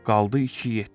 Qaldı iki yetim.